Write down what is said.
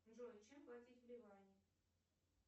джой чем платить в ливане